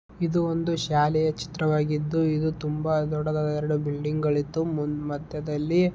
ಇದು ಒಂದು ಶಾಲೆಯ ಚಿತ್ರವಾಗಿತ್ತು ಇದು ತುಂಬಾ ದೊಡ್ಡದಾದ ಎರಡು ಬಿಲ್ಡಿಂಗ್ ಗಳು ಇತ್ತು ಮಧ್ಯದಲ್ಲಿ --